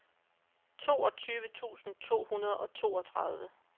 toogtyve tusind to hundrede og toogtredive